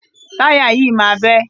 Táyà yìí máa bẹ́.